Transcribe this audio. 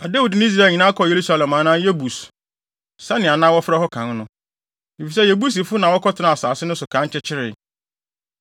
Na Dawid ne Israel nyinaa kɔɔ Yerusalem anaa Yebus, sɛnea na wɔfrɛ hɔ kan no, efisɛ Yebusifo na wɔkɔtenaa asase no so kan kyekyeree.